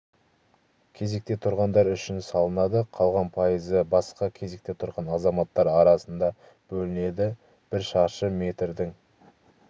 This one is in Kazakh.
кезекте тұрғандар үшін салынады қалған пайызы басқа кезекте тұрған азаматтар арасында бөлінеді бір шаршы метрдің